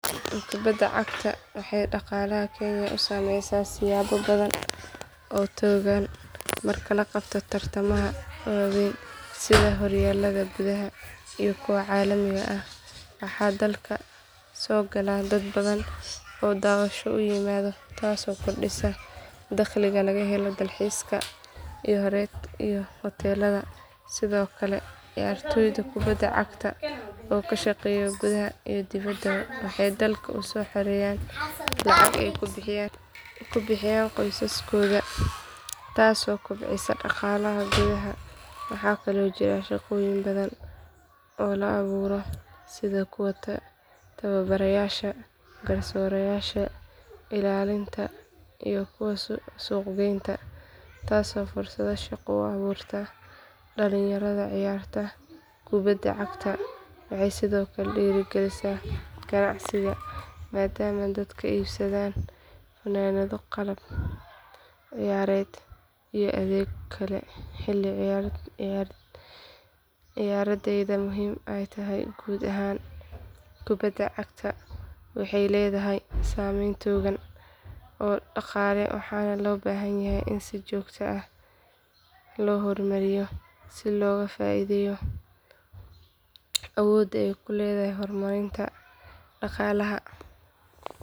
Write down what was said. Kubadda cagta waxay dhaqaalaha kenya u saameysaa siyaabo badan oo togan marka la qabto tartamada waaweyn sida horyaalada gudaha iyo kuwa caalamiga ah waxaa dalka soo gala dad badan oo daawasho u yimaada taasoo kordhisa dakhliga laga helo dalxiiska iyo hoteelada sidoo kale ciyaartoyda kubadda cagta oo ka shaqeeya gudaha iyo dibadda waxay dalka u soo xareeyaan lacag ay ku bixiyaan qoysaskooda taasoo kobcisa dhaqaalaha gudaha waxaa kaloo jira shaqooyin badan oo la abuuro sida kuwa tababarayaasha garsoorayaasha ilaalinta iyo kuwa suuqgeynta taasoo fursado shaqo u abuurta dhalinyarada ciyaarta kubadda cagta waxay sidoo kale dhiirrigelisaa ganacsiga maadaama dadku iibsadaan funaanado qalab ciyaareed iyo adeegyo kale xilli ciyaareedyada muhiimka ah guud ahaan kubadda cagta waxay leedahay saameyn togan oo dhaqaale waxaana loo baahan yahay in si joogto ah loo horumariyo si looga faa’iideeyo awoodda ay u leedahay horumarinta dhaqaalaha.